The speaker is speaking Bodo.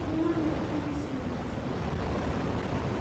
नों आंनो खम बेसेननि डिजाइनफोरखौ देखायनो हागोन नामा?